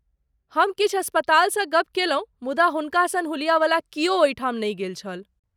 हम किछु अस्पतालसँ गप केलहुँ, मुदा हुनका सन हुलियावला कियो ओहिठाम नहि गेल छल।